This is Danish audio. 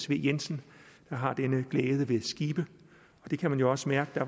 v jensen der har denne glæde ved skibe og det kan man jo også mærke